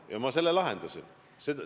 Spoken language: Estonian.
Ja ma lahendasin selle.